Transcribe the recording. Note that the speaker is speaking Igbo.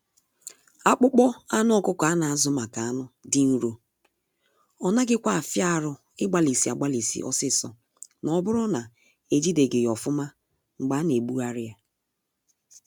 Akpụkpọ anụ ọkụkọ a na azụ maka anụ dị nro, ọ naghị kwa afia arụ ịgbalisi agbalisi ọsịsọ na oburu na ejideghi ya ofụma mgbe a na egbuari ya.